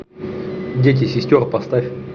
дети сестер поставь